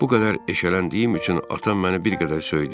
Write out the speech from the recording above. Bu qədər eşələndiyim üçün atam məni bir qədər söydü.